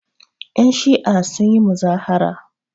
Yanshi'a sun yi muzahara.